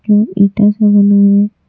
ये ईटा से बना है।